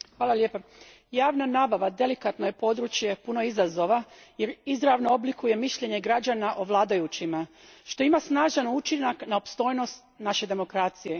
Gospodine predsjedniče, javna nabava delikatno je područje puno izazova jer izravno oblikuje mišljenje građana o vladajućima, što ima snažan učinak na opstojnost naše demokracije.